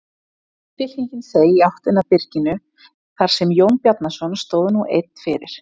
Fylkingin seig í áttina að byrginu þar sem Jón Bjarnason stóð nú einn fyrir.